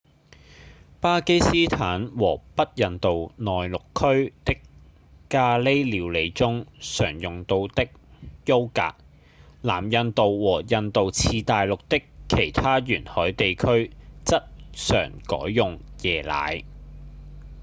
巴基斯坦和北印度內陸區的咖哩料理中常用到優格；南印度和印度次大陸的其他沿海地區則常改用椰奶